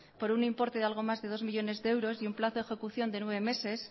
por un importe de algo más de dos millónes de euros y un plazo de ejecución de nueve meses